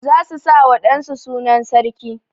Za su sa wa wa ɗan su sunan sarki.